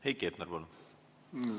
Heiki Hepner, palun!